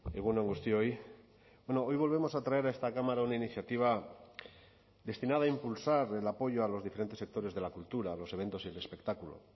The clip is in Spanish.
egun on guztioi hoy volvemos a traer a esta cámara una iniciativa destinada a impulsar el apoyo a los diferentes sectores de la cultura los eventos y el espectáculo